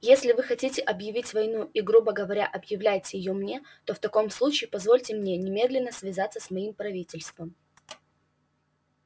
если вы хотите объявить войну и грубо говоря объявляете её мне в таком случае позвольте мне немедленно связаться с моим правительством